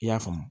I y'a faamu